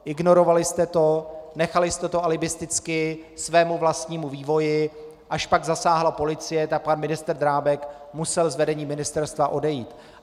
Ignorovali jste to, nechali jste to alibisticky svému vlastnímu vývoji, až pak zasáhla policie, tak pan ministr Drábek musel z vedení ministerstva odejít.